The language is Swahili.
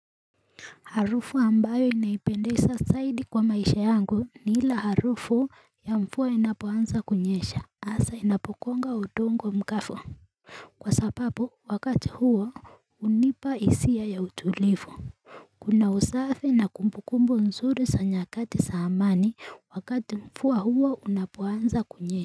Harufu ambayo inaipendeza zaidi kwa maisha yangu ni ile harufu ya mvua inapoanza kunyesha hasa inapogonga udongo mkafu Kwa sababu wakati huo hunipa hisia ya utulivu Kuna usafi na kumbukumbu nzuri za nyakati za amani wakati mvua huwa unapoanza kunyesha.